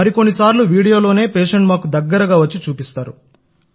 మరి కొన్ని సార్లు వీడియోలోనే పేషెంట్ మాకు దగ్గరగా వచ్చి చూపిస్తారు